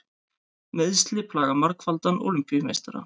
Meiðsli plaga margfaldan Ólympíumeistara